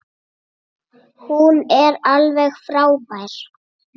Hún er alveg frábær.